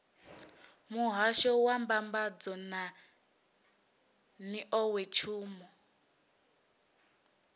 muhasho wa mbambadzo na nḓowetshumo